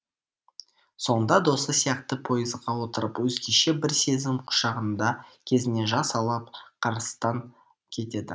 соңында досы сияқты пойызға отырып өзгеше бір сезім құшағында көзіне жас алып карстан кетеді